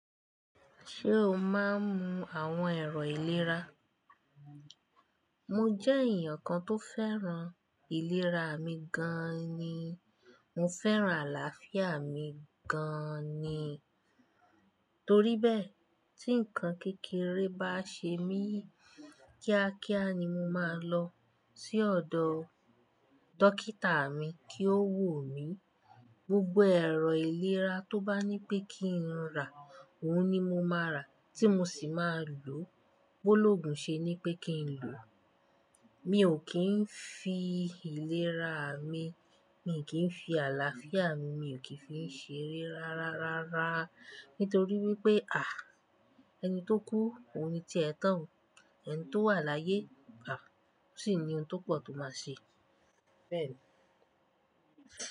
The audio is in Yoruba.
Ṣé o máa ń mu àwọn ẹ̀rọ ìlera? Mo jẹ́ èyàn kan tó fẹ́ràn ìlera mi gan ni. Mo fẹ́ràn àlàáfíà mi gan ni. Torí bẹ́ẹ̀, tí ǹkan kékeré bá ṣe mí, kíákíá ni mo máa lọ sí ọ̀dọ̀ dókítà mi kí ó wò mí. Gbogbo ẹ̀rọ ìlera tó bá ní pé kí n rà, ohun ni mo máa rà, tí mo sì máa lò. Bó lógún ṣe ní pé kí n lò, mi ò kì n fi ìlera mi, mi kì n fi àlàáfíà mi, mi kí fi n ṣeré rárárárá. Nítorí wípé, ẹni tó kú ohun ni tí ẹ̀ tán. Ẹni tó wà láyé, o sì ni ohun tó pọ̀ tó máa ṣe. Bẹ́ẹ̀ ni.